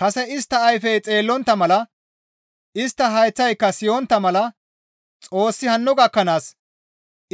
Kase, «Istta ayfey xeellontta mala, istta hayththayka siyontta mala Xoossi hanno gakkanaas